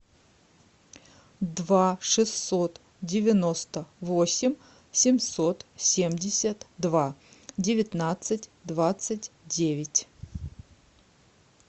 два шестьсот девяносто восемь семьсот семьдесят два девятнадцать двадцать девять